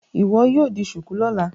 Iwọ yíò dì shuku lọla!